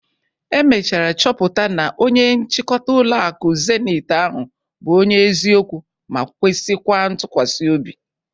E mechara chọpụta na onye nchịkọta ụlọ akụ Zeniti ahụ bụ onye eziokwu ma kwesikwa ntụkwasịobi?